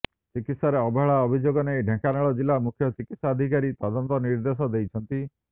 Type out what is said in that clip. ଚିକିତ୍ସାରେ ଅବହେଳା ଅଭିଯୋଗ ନେଇ ଢେଙ୍କାନାଳ ଜିଲ୍ଲା ମୁଖ୍ୟ ଚିକିତ୍ସାଧିକାରୀ ତଦନ୍ତ ନିର୍ଦ୍ଦେଶ ଦେଇଛନ୍ତି